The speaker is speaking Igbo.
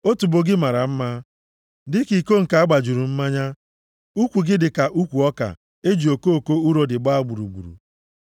Otubo gị mara mma dịka iko nke a gbajuru mmanya. Ukwu gị dị ka ukwu ọka e ji okoko urodi gbaa gburugburu.